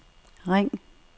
ring